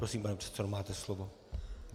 Prosím, pane předsedo, máte slovo.